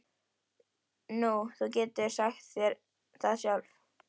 Nú, þú getur sagt þér það sjálf.